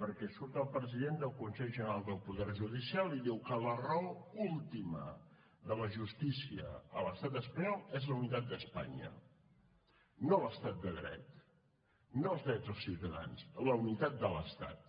perquè surt el president del consell general del poder judicial i diu que la raó última de la justícia a l’estat espanyol és la unitat d’espanya no l’estat de dret no els drets dels ciutadans la unitat de l’estat